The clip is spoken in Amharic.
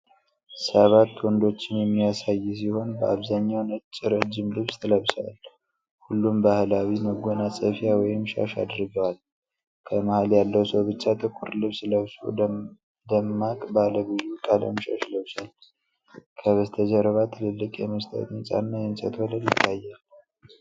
ሰባት ወንዶችን የሚያሳይ ሲሆን በአብዛኛው ነጭ ረጅም ልብስ ለብሰዋል። ሁሉም ባህላዊ መጎናጸፊያ ወይም ሻሽ አድርገዋል። ከመሃል ያለው ሰው ብቻ ጥቁር ልብስ ለብሶ፣ ደማቅ ባለ ብዙ ቀለም ሻሽ ለብሷል። ከበስተጀርባ ትልልቅ የመስታወት ህንጻ እና የእንጨት ወለል ይታያል።